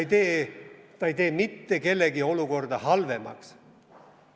See ei tee mitte kellegi olukorda halvemaks.